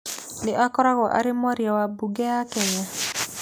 Nĩ ũkoragwo arĩ mwaria wa mbunge ya Kenya?